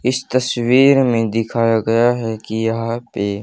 इस तस्वीर में दिखाया गया है कि यहां पे--